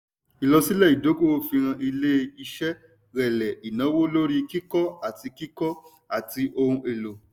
ìlọsílẹ̀ ìdọ́kowọ̀ fihàn ilé iṣé rẹlẹ̀ ìnáwó lórí kíkó àti kíkó àti ohun èlò.